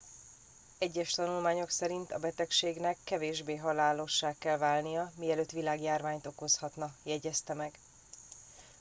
egyes tanulmányok szerint a betegségnek kevésbé halálossá kell válnia mielőtt világjárványt okozhatna jegyezte meg